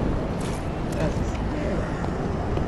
Raziskujejo!